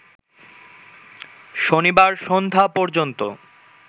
শনিবার সন্ধ্যা পর্যন্ত